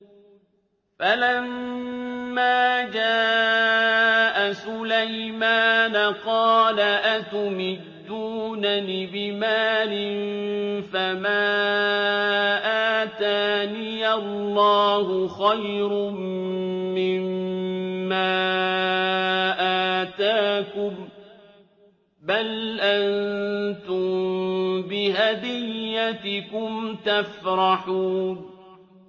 فَلَمَّا جَاءَ سُلَيْمَانَ قَالَ أَتُمِدُّونَنِ بِمَالٍ فَمَا آتَانِيَ اللَّهُ خَيْرٌ مِّمَّا آتَاكُم بَلْ أَنتُم بِهَدِيَّتِكُمْ تَفْرَحُونَ